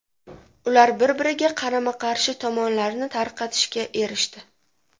Ular bir-biriga qarama-qarshi tomonlarni tarqatishga erishdi.